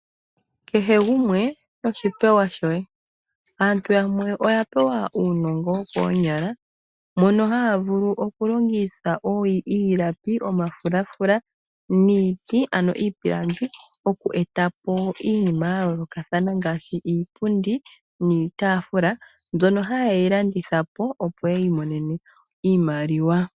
Kehe gumwe noshi pewa shoye, aantu yamwe oya pewa uunongo wokoonyala mono haavulu okulongitha iilapi, omafulafula niiti ano iipilangi oku eta po iinima yayoolokathana ngaashi iipundi niitaafula mbyono haye yi landitha po opo yiimonene iimaliwa.